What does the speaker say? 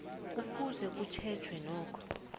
kufuze kutjhejweke nokho